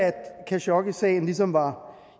khashoggisagen ligesom var